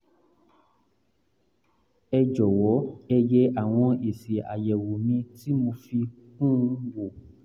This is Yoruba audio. ẹ jọ̀wọ́ ẹ yẹ àwọn èsì àyẹ̀wò mi ti mo fi kún un wò